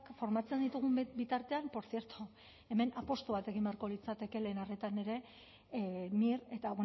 formatzen ditugun bitartean portzierto hemen apustu bat egin beharko litzateke lehen arretan ere mir eta